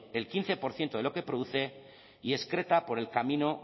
el quince por ciento de lo que produce y excreta por el camino